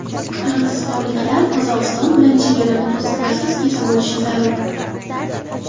Qirg‘izistonliklar Qozog‘iston bilan chegarani to‘siqlarsiz kesib o‘tishi zarur.